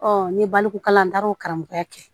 n ye baloko kalan n taara o karamɔgɔya kɛ